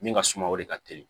Min ka suma o de ka teli